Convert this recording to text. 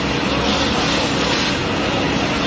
Quraşdırılmışdır.